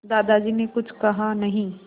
दादाजी ने कुछ कहा नहीं